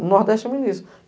No Nordeste é muito isso.